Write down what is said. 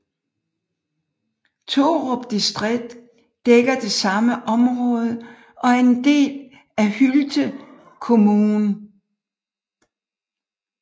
Torup distrikt dækker det samme område og er en del af Hylte kommun